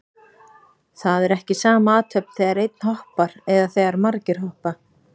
Það er ekki sama athöfn þegar einn hoppar eða þegar margir hoppa.